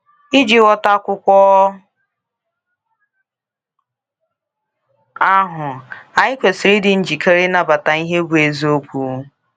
Iji ghọta akwụkwọ ahụ, anyị kwesịrị ịdị njikere ịnabata ihe bụ eziokwu.